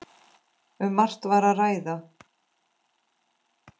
Um margt var að ræða.